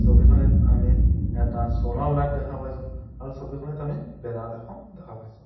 ছবিখনিত আমি এটা চ'লাৰ লাইট দেখা পাইছোঁ আৰু ছবিখনিত আমি বেনাৰ এখন দেখা পাইছোঁ।